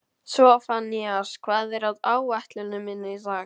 Sophanías, hvað er á áætluninni minni í dag?